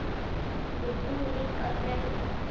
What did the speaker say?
Ég trúi líka á drauga.